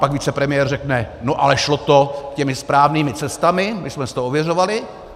Pak vicepremiér řekne - no ale šlo to těmi správnými cestami, my jsme si to ověřovali.